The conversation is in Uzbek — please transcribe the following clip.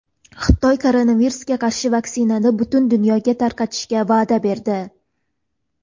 Xitoy koronavirusga qarshi vaksinani butun dunyoga tarqatishga va’da berdi.